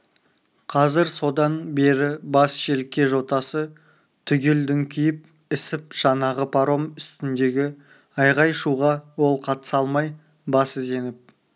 қазір содан бері бас желке жотасы түгел дүңкиіп ісіп жаңағы паром үстіндегі айғай-шуға ол қатыса алмай басы зеңіп